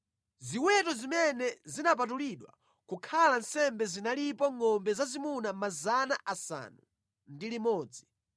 Ziweto zimene zinapatulidwa kukhala nsembe zinalipo ngʼombe zazimuna 600, nkhosa ndi mbuzi 3,000.